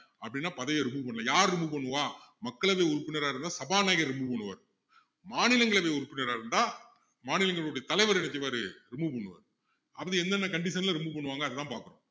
அப்படின்னா பதவியை remove பண்ணலாம் யாரு remove பண்ணுவா மக்களவை உறுப்பினரா இருந்தா சபாநாயகர் remove பண்ணுவார் மாநிலங்களவை உறுப்பினரா இருந்தா மாநிலங்களவையுடைய தலைவர் என்ன செய்வாரு remove பண்ணுவாரு அப்படி என்னென்ன condition ல remove பண்ணுவாங்க அதெல்லாம் பாப்போம்